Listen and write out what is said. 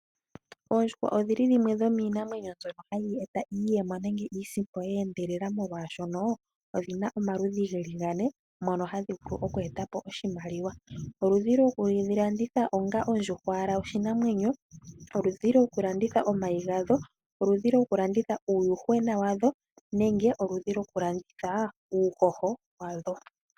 Oondjuhwa odhili dhimwe dho miinamwenyo mbyono hayi eta iiyemo nenge iisimpo ye endelela, oshoka odhina omaludhi geli gane mono hadhi vulu oku etapo oshimaliwa. Ngaashi oludhi lwokudhi landitha onga ondjuhwa oshinamwenyo, oku landitha omayi , oku landitha uuyuhwena nenge oku landitha uuhoho wadho.